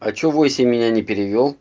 а что восемь меня не перевёл